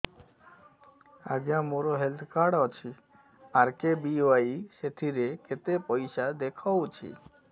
ଆଜ୍ଞା ମୋର health card ଅଛି ଆର୍.କେ.ବି.ୱାଇ ସେଥିରେ କେତେ ପଇସା ଦେଖଉଛି